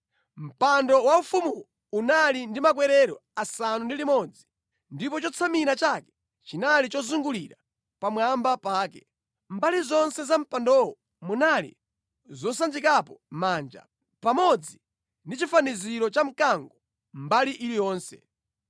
Mpando waufumuwo unali ndi makwerero asanu ndi limodzi, ndipo chotsamira chake chinali chozungulira pamwamba pake. Mʼmbali zonse za mpandowo munali zosanjikapo manja, pamodzi ndi chifaniziro cha mkango mbali iliyonse.